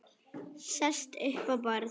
Sest upp á borð.